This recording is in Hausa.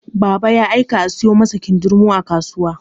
Baba ya aika a sayo masa kindirmo a kasuwa.